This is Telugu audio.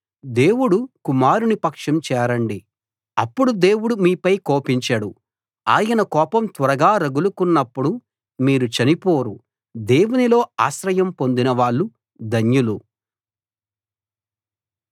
దేవుడు కుమారుని పక్షం చేరండి అప్పుడు దేవుడు మీపై కోపించడు ఆయన కోపం త్వరగా రగులుకున్నప్పుడు మీరు చనిపోరు దేవునిలో ఆశ్రయం పొందినవాళ్ళు ధన్యులు